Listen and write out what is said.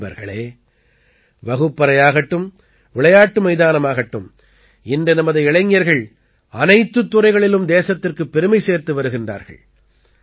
நண்பர்களே வகுப்பறையாகட்டும் விளையாட்டு மைதானமாகட்டும் இன்று நமது இளைஞர்கள் அனைத்துத் துறைகளிலும் தேசத்திற்குப் பெருமை சேர்த்து வருகின்றார்கள்